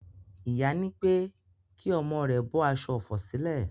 Ìyá nípé kí omo rèè bó aso òfò sìlè.